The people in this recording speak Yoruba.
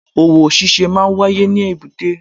Òwò ṣíṣe máa n wáyé ní èbúté